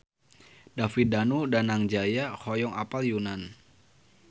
David Danu Danangjaya hoyong apal Yunan